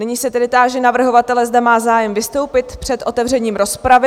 Nyní se tedy táži navrhovatele, zda má zájem vystoupit před otevřením rozpravy?